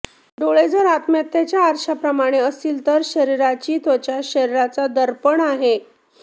डोळे जर आत्म्याच्या आरशाप्रमाणे असतील तर शरीराची त्वचा शरीराचा दर्पण आहे